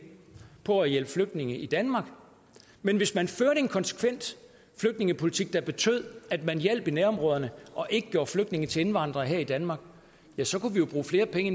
på at hjælpe flygtninge i danmark men hvis man førte en konsekvent flygtningepolitik der betød at man hjalp i nærområderne og ikke gjorde flygtninge til indvandrere her i danmark ja så kunne vi jo bruge flere penge